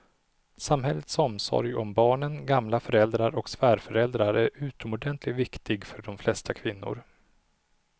Samhällets omsorg om barnen, gamla föräldrar och svärföräldrar är utomordentligt viktig för de flesta kvinnor.